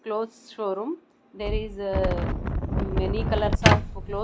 clothes showroom there is many colours of cloth.